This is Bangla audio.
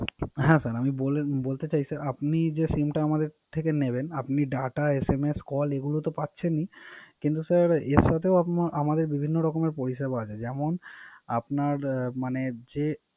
হ্যা স্যাা যে SIM টা আমাদের সেথে নিবেন। আপিন Data SMS call এগুলা তো পাচ্ছেন ই। কিন্ত স্যার এর সাথে বিভিন্ন রকম পরিসেবা আছে। যেমন আপনার মানে যে